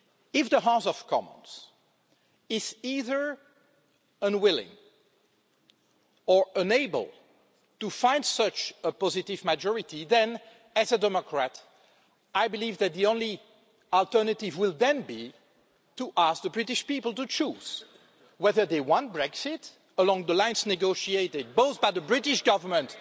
If the House of Commons is either unwilling or unable to find such a positive majority, as a democrat, I believe that the only alternative will then be to ask the British people to choose whether they want Brexit along the lines negotiated both by the British Government